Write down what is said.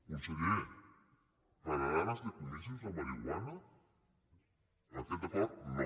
conseller pararem els decomisos de marihuana amb aquest acord no